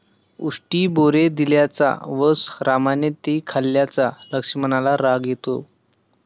उष्टी बोरे दिल्याचा व रामाने ती खाल्ल्याचा लक्ष्मणाला राग येतो.